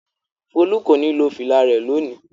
Folú kò ní lo fìlà rẹ̀ lónìí!